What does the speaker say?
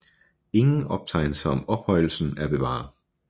Ingen optegnelser om ophøjelsen er bevaret